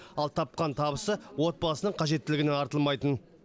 ал тапқан табысы отбасының қажеттілігінен артылмайтын